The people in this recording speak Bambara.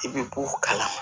I bɛ bɔ kalama